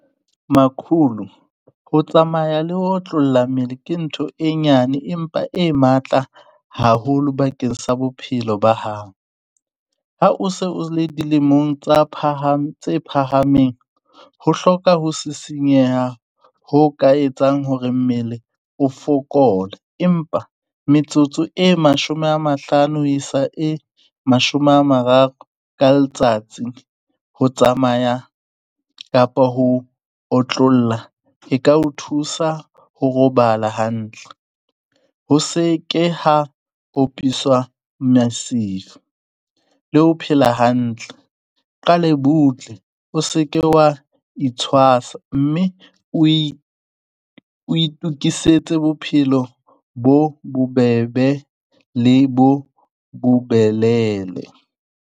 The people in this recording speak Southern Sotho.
Makhulu, ho tsamaya le ho otlolla mmele ke ntho e nyane empa e matla haholo bakeng sa bophelo ba hao. Ha o se o le dilemong tsa phaha tse phahameng, ho hloka ho sisinyeha ho ka etsang hore mmele o fokole. Empa metsotso e mashome a mahlano ho isa e mashome a mararo ka letsatsi. Ho tsamaya kapa ho otlolla e ka o thusa ho robala hantle, ho se ke ha opiswa le ho phela hantle, o qale butle. O se ke wa itshwasa, mme o e, o itukisetse bophelo bo bobebe le bo bo belele.